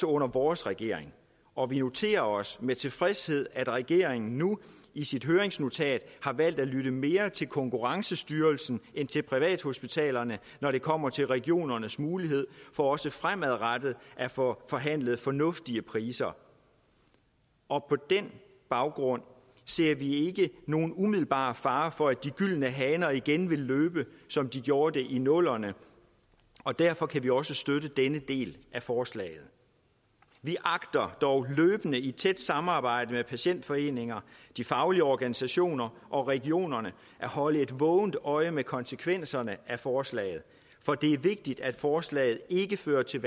under vores regering og vi noterer os med tilfredshed at regeringen nu i sit høringsnotat har valgt at lytte mere til konkurrencestyrelsen end til privathospitalerne når det kommer til regionernes mulighed for også fremadrettet at få forhandlet fornuftige priser og på den baggrund ser vi ikke nogen umiddelbar fare for at de gyldne haner igen vil løbe som de gjorde det i nullerne og derfor kan vi også støtte denne del af forslaget vi agter dog løbende i tæt samarbejde med patientforeninger de faglige organisationer og regionerne at holde et vågent øje med konsekvenserne af forslaget for det er vigtigt at forslaget ikke fører til